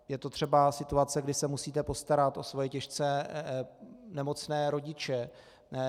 Je to třeba situace, kdy se musíte postarat o svoje těžce nemocné rodiče.